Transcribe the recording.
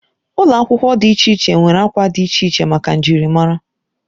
Ụlọ akwụkwọ dị iche iche nwere akwa dị iche iche maka njirimara.